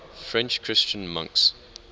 french christian monks